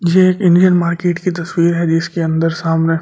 यह एक Indian market की तस्वीर है जिसके अंदर सामने ।